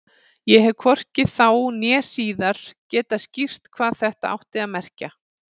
Ég hef hvorki þá né síðar getað skýrt hvað þetta átti að merkja.